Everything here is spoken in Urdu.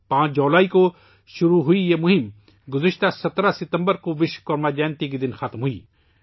5 جولائی کو شروع ہونے والی یہ مہم 17 ستمبر کو وشوکرما جینتی کے دن ختم ہوئی